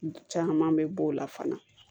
Caman bɛ bɔ o la fana